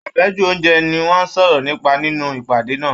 Afẹju ounjẹ ni wọn sọrọ nípa nínú ìpàdé náà.